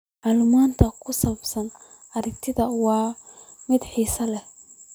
Macluumaadka ku saabsan arrintan waa mid xasaasi ah.